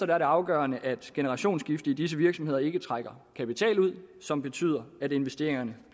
det afgørende at et generationsskifte i disse virksomheder ikke trækker kapital ud som betyder at investeringerne